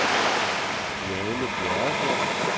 Janne Bjerregaard